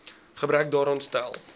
gebrek daaraan stel